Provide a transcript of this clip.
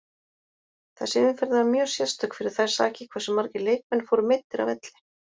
Þessi umferð var mjög sérstök fyrir þær sakir hversu margir leikmenn fóru meiddir af velli.